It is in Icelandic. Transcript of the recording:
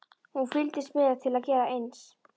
Hún fylgdist með til að gera eins.